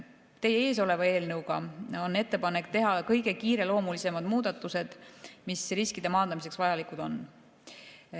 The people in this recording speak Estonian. Teie ees olevas eelnõus on ettepanek teha kõige kiireloomulisemad muudatused, mis riskide maandamiseks vajalikud on.